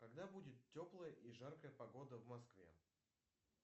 когда будет теплая и жаркая погода в москве